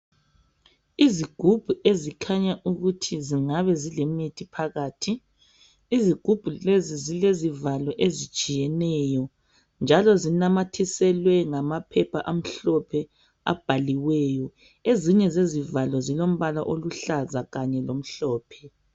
Izigubhu ezikhanya ukuthi zingabe zilemithi phakathi. Izigubhu lezi zilezivalo ezitshiyeneyo, njalo zinamathiselwe ngaphepha amhlophe abhaliweyo ezinye zezivalo zilombala oluhlaza kanye lomhlophe.